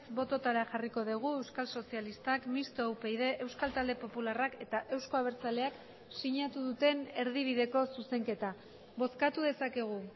bototara jarriko dugu euskal sozialistak mistoa upyd euskal talde popularrak eta euzko abertzaleak sinatu duten erdibideko zuzenketa bozkatu dezakegu